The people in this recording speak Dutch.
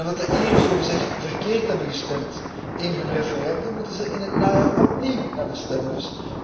En omdat de Ieren zogezegd verkeerd hebben gestemd in hun referendum, moeten ze in het najaar opnieuw naar de stembus.